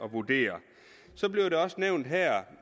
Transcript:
at vurdere så blev det også nævnt her